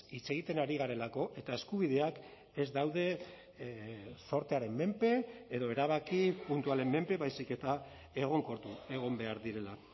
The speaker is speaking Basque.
hitz egiten ari garelako eta eskubideak ez daude zortearen menpe edo erabaki puntualen menpe baizik eta egonkortu egon behar direla